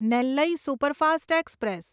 Nellai superfast express